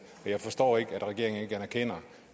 og jeg forstår ikke at regeringen ikke erkender